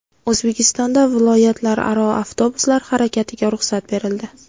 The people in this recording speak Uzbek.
O‘zbekistonda viloyatlararo avtobuslar harakatiga ruxsat berildi.